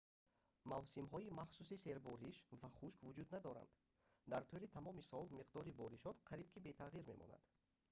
мавсимҳои махсуси «сербориш» ва «хушк» вуҷуд надоранд: дар тӯли тамоми сол миқдори боришот қариб ки бетағйир мемонад